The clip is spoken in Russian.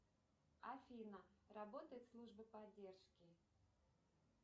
афина работает служба поддержки